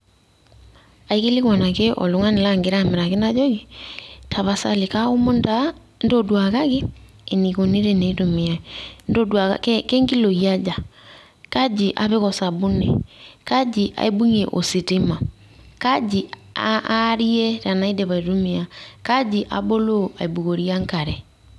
Aikilikwan ake oltung'ani lagira amiraki najoki, tapasali kaomon taa m,ntoduakaki enikoni teneitumiai. Kenkiloi aja? Kaji apik o sabuni? Kaji aibung'ie ositima? Kaji aarie tenaidip aitumia? Kaji aboloo aibukorie enkare?